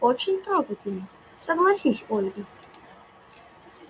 очень трогательно согласилась ольги